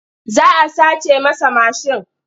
Za a sace masa mashin.